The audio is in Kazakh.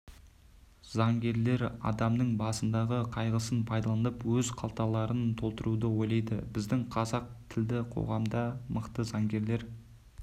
заңгерлер адамның басындағы қайғысын пайдаланып өз қалталарын толтыруды ойлайды біздің қазақ тілді қоғамда мықты заңгерлер